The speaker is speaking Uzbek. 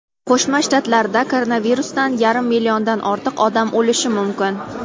Qo‘shma Shtatlarda koronavirusdan yarim milliondan ortiq odam o‘lishi mumkin.